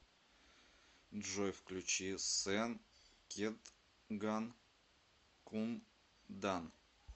джой включи сен кетган кундан